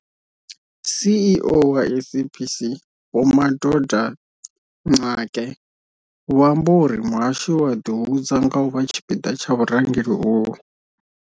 CEO wa SABC vho Madoda Mxakwe vho amba uri muhashi u a ḓihudza nga u vha tshipiḓa tsha vhurangeli uhu.